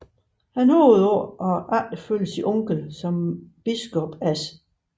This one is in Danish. Han håbede på at efterfølge sin onkel som biskop af St